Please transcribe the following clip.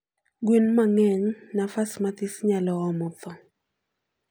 gwen mangeny nafas mathis nyalo omo thoo